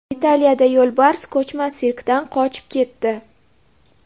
Italiyada yo‘lbars ko‘chma sirkdan qochib ketdi .